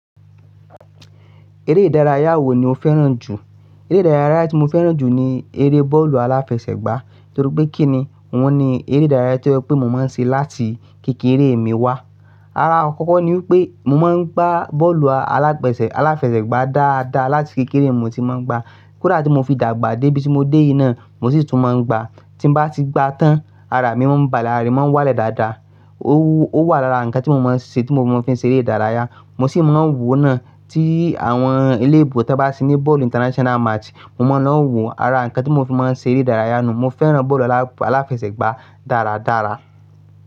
Eré ìdárayá wo ni o fẹ́ràn jù? Eré ìdárayá tí mo fẹ́ràn jù ni eré bọ́ọ̀lù aláfẹsẹ̀gbá, torí pé kíni, wọ́n ni eré ìdárayá tí ó ṣe wípé mo máa ń ṣe láti kékeré mi wá. Ara akọ́kọ́ ni wípé mo máa ń gbá bọ́ọ̀lù aláfẹsẹ̀, aláfẹsẹ̀gbá dáadáa láti kékeré mo ti máa ń gbá. Kódà tí mo fi dàgbà dé ibi tí mo dé yìí náà, mo sì tún máa ń gbá. Tí bá ti gba tán, ara mi máa ń bàle, ara mi máa ń wálẹ̀ dáadáa. O wù, ó wà lára nǹkan tí mo máa ń ṣe, tí mo fi ń ṣe eré ìdárayá, mo sì máa ń wòó náà tí àwọn eléebo tí wọ́n bá tí ní bọ́ọ̀lù international match, mo máa ń lọ wòó. Ara nǹkan tí mo fi máa ń ṣe eré ìdárayá nù, mo fẹ́ràn bọ́ọ̀lù aláfẹsẹ̀gbá dáradára.